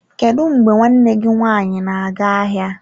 Kedu mgbe nwanne gị nwaanyị na-aga ahịa?